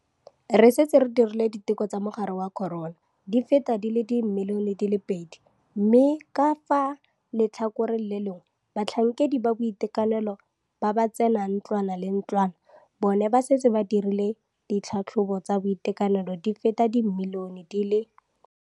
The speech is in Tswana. Re setse re dirile diteko tsa mogare wa corona di feta di le dimilione di le pedi mme ka fa letlhakoreng le lengwe batlhankedi ba boitekanelo ba ba tsenang ntlwana ka ntlwana bona ba setse ba dirile ditlhatlhobo tsa boitekanelo di feta di le dimilione di le